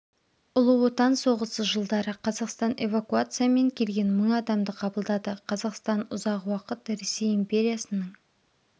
ұлы отан соғысы жылдары қазақстан эвакуациямен келген мың адамды қабылдады қазақстан ұзақ уақыт ресей империясының